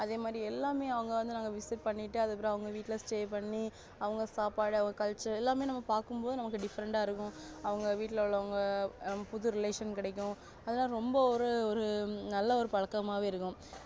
அதேமாதிரி எல்லாமே அவங்க வந்து நாங்க visit பண்ணிட்டு அப்புறம் அவங்க வீட்டுல்ல stay பண்ணி அவங்க சாப்பாடு அவங்க culture யெல்லாமே நாம பாக்கும் போது different இருக்கும் அவங்க வீட்டுல்ல உள்ளவங்க புது relation கிடைக்கும் ரொம்ப ஒரு ஒரு நல்ல ஒரு பழக்கமாவே இருக்கும்